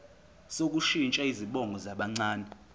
sokushintsha izibongo zabancane